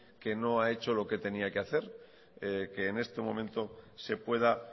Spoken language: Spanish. que no ha hecho lo que tenía que hacer que en este momento se pueda